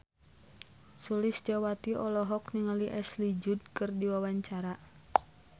Sulistyowati olohok ningali Ashley Judd keur diwawancara